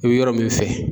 I bɛ yɔrɔ min fɛ